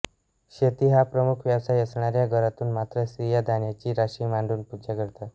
शेती हा प्रमुख व्यवसाय असणाऱ्या घरांतून मात्र स्त्रिया धान्याची राशी मांडून पूजा करतात